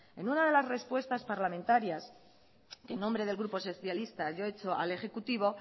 en una de las respuestas parlamentarias que en nombre del grupo socialistas yo he hecho al ejecutivo